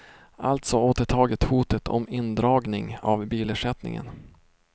Alltså återtagit hotet om indragning av bilersättningen.